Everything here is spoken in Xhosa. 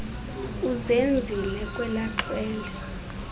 uzenzile kwela xhwele